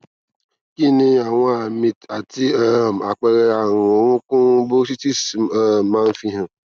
kí ni àwọn àmì àti um àpere tí àrùn orokun bursitis um ma n fi han